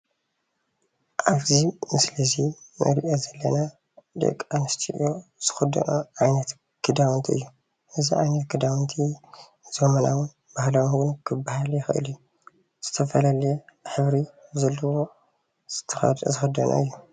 ኣብዚ ምስሊ እዚ እንሪኦ ዘለና ደቂ ኣንስትዮ ዝክደንኦ ዓይነት ክዳውንቲ እዩ፣ እዚ ዓይነት ክዳውንቲ ዘበናውን ባህላውን ክባሃል ይክል እዩ፡፡ ዝተፈላየ ሕብሪ ዘለዎ ዝክደንኦ እዩ፡ ፡